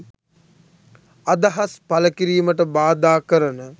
අදහස් පළ කිරීමට බාධා කරන